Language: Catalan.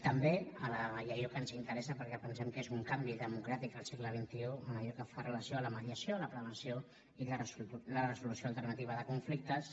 també i és allò que ens interessa perquè pensem que és un canvi democràtic al segle xxi en allò que fa relació a la mediació a la prevenció i la resolució alternativa de conflictes